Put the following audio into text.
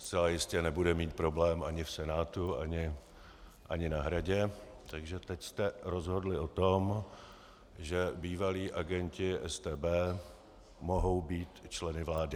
Zcela jistě nebude mít problém ani v Senátu ani na Hradě, takže teď jste rozhodli o tom, že bývalí agenti StB mohou být členy vlády.